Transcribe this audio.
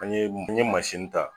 An ye m n ye masini ta